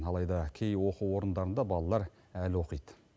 алайда кей оқу орындарында балалар әлі оқиды